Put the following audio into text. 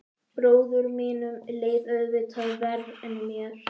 Bróður mínum leið auðvitað verr en mér.